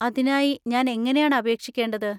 അതിനായി ഞാൻ എങ്ങനെയാണ് അപേക്ഷിക്കേണ്ടത്?